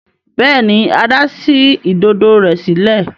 Béèni Ada sí Ìdodo rẹ sílẹ̀.